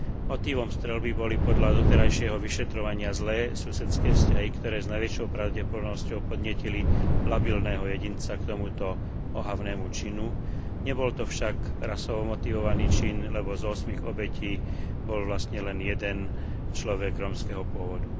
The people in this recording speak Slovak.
Motívom streľby boli podľa doterajšieho vyšetrovania zlé susedské vzťahy, ktoré s najväčšou pravdepodobnosťou podnietili labilného jedinca k tomuto ohavnému činu, nebol to však rasovo motivovaný čin, lebo z ôsmich obetí bol vlastne len jeden človek rómskeho pôvodu.